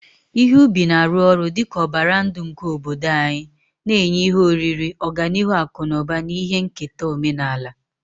Ihe ubi na-arụ ọrụ dị ka ọbara ndụ nke obodo anyị, na-enye ihe oriri, ọganihu akụ na ụba, na ihe nketa omenala.